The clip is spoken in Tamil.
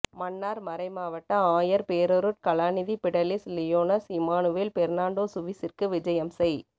மன்னார் மறைமாவட்ட ஆயர் பேரருட் கலாநிதி பிடலிஸ் லியோனல் இம்மானுவேல் பெர்ணான்டோ சுவிஸிற்கு விஜயம் செய்